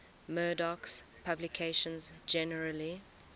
murdoch's publications generally